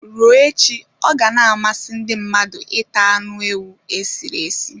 Ruo echi ọ ga na-amasị ndị mmadụ ita anụ ewu e sịrị esi